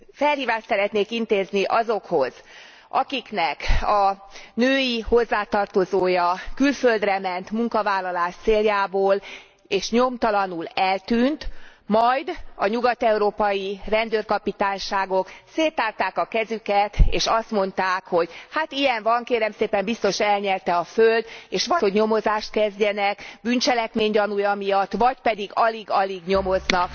Felhívást szeretnék intézni azokhoz, akiknek a női hozzátartozója külföldre ment munkavállalás céljából és nyomtalanul eltűnt, majd a nyugat európai rendőrkapitányságok széttárták kezüket és azt mondták, hogy hát ilyen van, kérem szépen, biztos elnyelte a föld és vagy megtagadták azt, hogy nyomozást kezdjenek bűncselekmény gyanúja miatt vagy pedig alig alig nyomoztak.